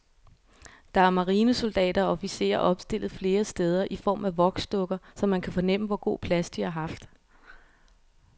Der er marinesoldater og officerer opstillet flere steder i form af voksdukker, så man kan fornemme, hvor god plads de har haft.